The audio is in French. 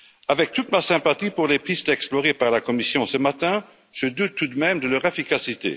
Avec toute ma sympathie pour les pistes explorées par la Commission ce matin, je doute tout de même de leur efficacité.